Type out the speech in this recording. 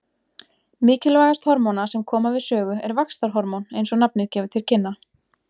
Mikilvægast hormóna sem koma við sögu er vaxtarhormón eins og nafnið gefur til kynna.